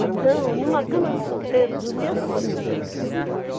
Então, numa cama de solteiro, dormiam cinco.